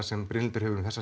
sem Brynhildur hefur um